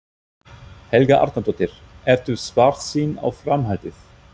Helga Arnardóttir: Ertu svartsýn á framhaldið?